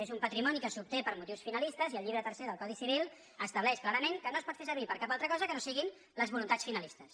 és un patrimoni que s’obté per motius finalistes i el llibre tercer del codi civil estableix clarament que no es pot fer servir per a cap altra cosa que no siguin les voluntats finalistes